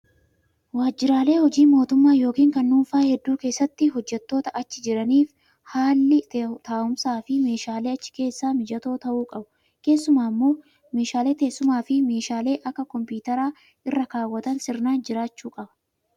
Waajjiraalee hojii mootummaa yookiin kan dhuunfaa hedduu keessatti hojjattoota achi jiraniif haalli taa'umsafi meeshaaleen achi keessaa mijatoo ta'uu qabu. Keessumaa immoo meeshaalee teessumaa fi meeshaa akka kompitaraa irra kaawwatan sirnaan jiraachuu qaba